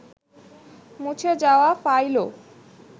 মুছে যাওয়া ফাইলও